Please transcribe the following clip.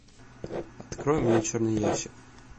открой мне черный ящик